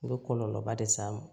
U bɛ kɔlɔlɔba le s'a ma